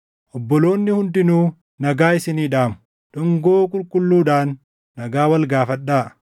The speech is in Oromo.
Obboloonni hundinuu nagaa isinii dhaamu. Dhungoo qulqulluudhaan nagaa wal gaafadhaa.